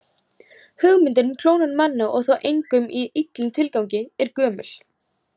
Hugmyndin um klónun manna- og þá einkum í illum tilgangi- er gömul.